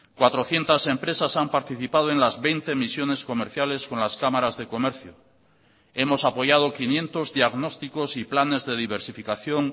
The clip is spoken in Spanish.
cuatrocientos empresas han participado en las veinte misiones comerciales con las cámaras de comercio hemos apoyado quinientos diagnósticos y planes de diversificación